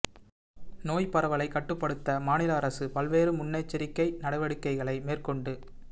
நோய் பரவலை கட்டுப்படுத்த மாநில அரசு பல்வேறு முன்னெச்சரிக்கை நடவடிக்கைகளை மேற்கொண்டு